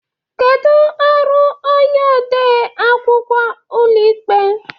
Kedu ọrụ onye ode akwụkwọ ụlọikpe?